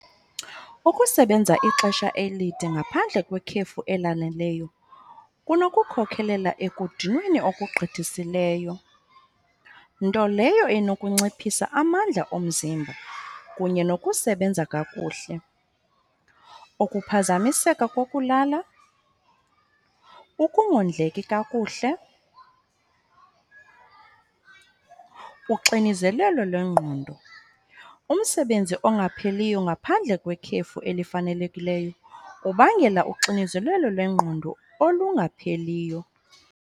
Ukusebenza ixesha elide ngaphandle kwekhefu elaneleyo kunokukhokhelela ekudinweni okugqithisileyo. Nto leyo inokunciphisa amandla omzimba kunye nokusebenza kakuhle, ukuphazamiseka kokulala, ukungondleki kakuhle, uxinizelelo lwengqondo. Umsebenzi ongapheliyo ngaphandle kwekhefu elifanelekileyo ubangela uxinizelelo lwengqondo olungapheliyo.